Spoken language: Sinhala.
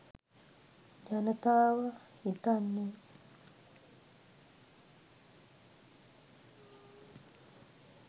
ජනතාව හිතන්නේ